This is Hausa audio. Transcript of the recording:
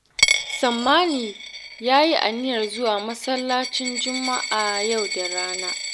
Sammani ya yi aniyar zuwa masallacin Juma'a yau da rana